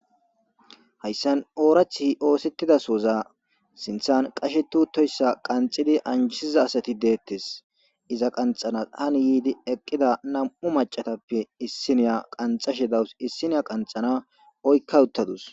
Hayssan oorath oosettidasoza sinthan qashe tuutoyssa qanxidi anjisiza asati deettes iza qanxana hani yiidi eqqida nam7u macatappe issiniya qanxashe dawus issiniya qanxana oykka uttadus